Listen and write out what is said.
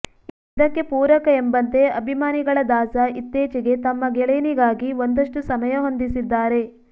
ಇದಕ್ಕೆ ಪೂರಕ ಎಂಬಂತೆ ಅಭಿಮಾನಿಗಳ ದಾಸ ಇತ್ತೀಚೆಗೆ ತಮ್ಮ ಗೆಳೆಯನಿಗಾಗಿ ಒಂದಷ್ಟು ಸಮಯ ಹೊಂದಿಸಿದ್ದಾರೆ